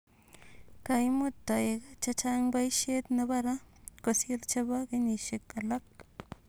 Kaimut toek chechang poishet nepo raa kosiir chepo kenyishek alak